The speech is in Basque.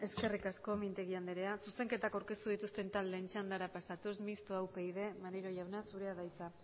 eskerrik asko mintegi andrea zuzenketak aurkeztu dituzten taldeen txandara pasatuz mistoa upyd maneiro jauna zurea da hitza